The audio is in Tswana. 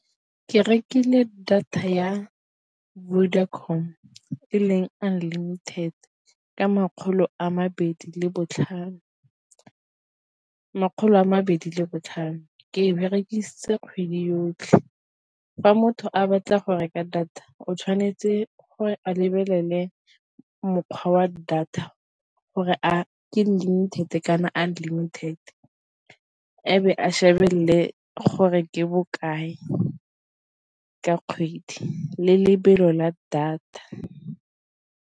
Ke rekile data ya Vodacom e leng unlimited ka makgolo a mabedi le botlhano, ke e berekisitse kgwedi yotlhe. Fa motho a batla go reka data o tshwanetse gore a lebelele mokgwa wa data gore a ke limited kana unlimited abo a shebelle gore ke bokae ka kgwedi le lebelo la data.